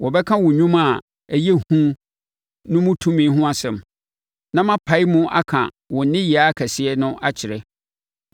Wɔbɛka wo nnwuma a ɛyɛ hu no mu tumi ho asɛm; na mapae mu aka wo nneyɛɛ akɛseɛ no akyerɛ.